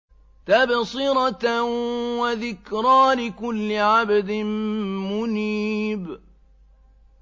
تَبْصِرَةً وَذِكْرَىٰ لِكُلِّ عَبْدٍ مُّنِيبٍ